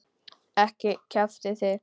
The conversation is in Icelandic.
Ekki kjaftið þið.